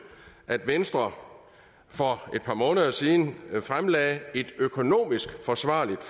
at venstre for et par måneder siden fremlagde et økonomisk forsvarligt